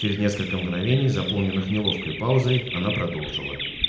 через несколько мгновений заполненных неловкой паузы она продолжила